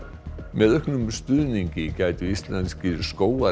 með auknum stuðningi gætu íslenskir